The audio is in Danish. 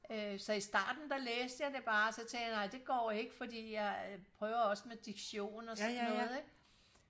øh så i starten der læste jeg det bare og så tænkte jeg nej det går ikke for jeg prøver også med diktion og sådan noget ikke